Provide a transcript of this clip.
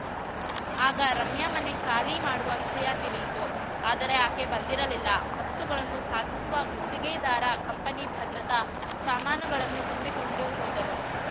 ಆಗ ರಮ್ಯಾ ಮನೆ ಖಾಲಿ ಮಾಡುವ ವಿಷಯ ತಿಳಿಯಿತು ಆದರೆ ಆಕೆ ಬಂದಿರಲಿಲ್ಲ ವಸ್ತುಗಳನ್ನು ಸಾಗಿಸುವ ಗುತ್ತಿಗೆದಾರ ಕಂಪನಿ ಭದ್ರತಾ ಸಾಮಾನುಗಳನ್ನು ತುಂಬಿಕೊಂಡು ಹೋದರು